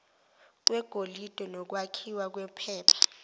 kwegolide nokwakhiwa kwephepha